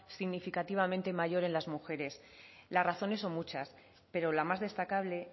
significativamente mayor en las mujeres las razones son muchas pero la más destacable